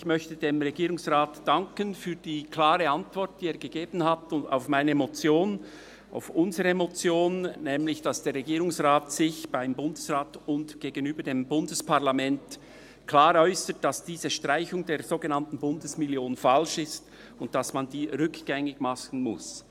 Ich möchte dem Regierungsrat für die klare Antwort danken, die er auf unsere Motion gegeben hat, wonach er sich nämlich dem Bundesrat und dem Bundesparlament gegenüber klar äussert, dass diese Streichung der sogenannten Bundesmillion falsch ist und man diese rückgängig machen muss.